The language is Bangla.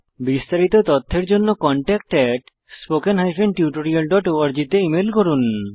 বিস্তারিত তথ্যের জন্য contactspoken tutorialorg তে ইমেল করুন